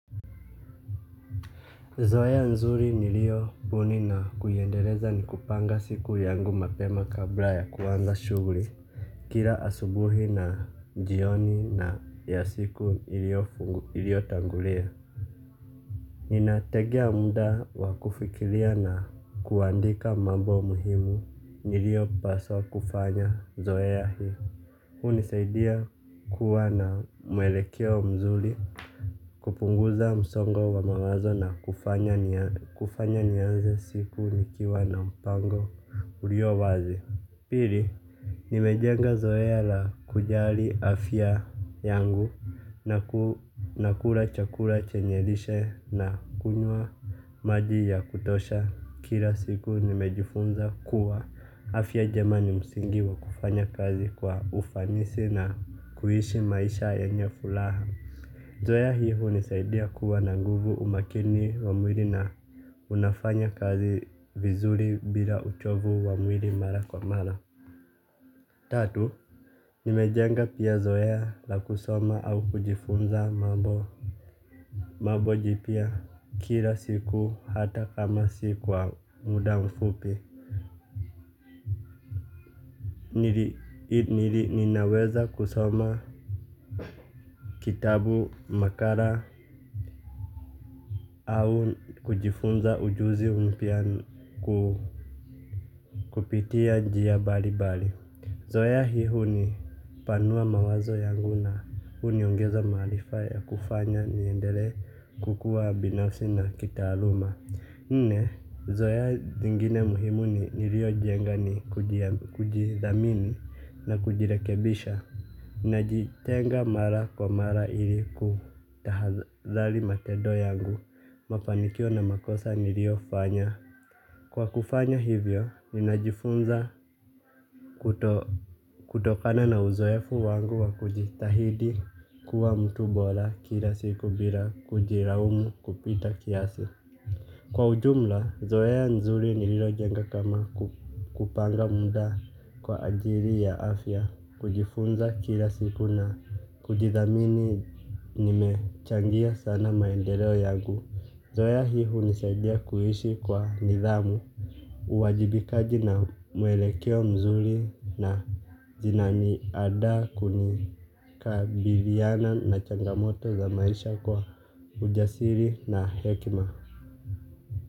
Zoeya nzuri nilio puni na kuiendeleza ni kupanga siku yangu mapema kabla ya kuanza shuguri kira asubuhi na jioni na ya siku ilio tangulia. Ninategea muda wakufikilia na kuandika mambo muhimu niliopaswa kufanya zoeya hii hunisaidia kuwa na muelekeo mzuri. Kupunguza msongo wa mawazo na kufanya nianze siku nikiwa na mpango urio wazi. Pili, nimejenga zoea la kujali afya yangu na ku na kula chakula chenye lishe na kunywa maji ya kutosha kira siku nimejifunza kuwa afya jema ni msingi wa kufanya kazi kwa ufanisi na kuishi maisha yenye fulaha. Zoea hio hunisaidia kuwa na nguvu umakini wa mwiri na unafanya kazi vizuri bila uchovu wa mwiri mara kwa mara. Tatu, nimejenga pia zoea la kusoma au kujifunza mambo mambo jipya kila siku hata kama si kwa muda mfupi. Nili ninaweza kusoma kitabu makara au kujifunza ujuzi mpya kupitia njia bali bali zoea hii hunipanua mawazo yangu na uniongeza maalifa ya kufanya niendele kukuwa binafsi na kitaaluma. Nne, zoea zingine muhimu ni nilio jenga ni kujidhamini na kujirekebisha. Ninajitenga mara kwa mara ili kutahadhali matendo yangu mapanikio na makosa niliofanya. Kwa kufanya hivyo, ninajifunza kutokana na uzoefu wangu wa kujitahidi kuwa mtu bora kila siku bila kujiraumu kupita kiasi. Kwa ujumla, zoea nzuri nililojenga kama kupanga muda kwa ajiri ya afya, kujifunza kila siku na kujithamini nimechangia sana maendeleo yangu. Zoea hii hunishadia kuishi kwa nidhamu, uwajibikaji na muelekeo mzuri na zinani ada kunika biliana na changamoto za maisha kwa ujasiri na hekima.